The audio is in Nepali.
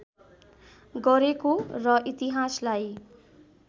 गरेको र इतिहासलाई